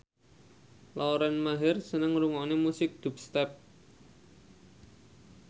Lauren Maher seneng ngrungokne musik dubstep